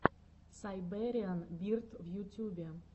сайбериан бирд в ютюбе